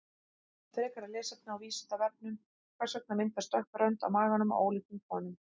Frekara lesefni á Vísindavefnum: Hvers vegna myndast dökk rönd á maganum á óléttum konum?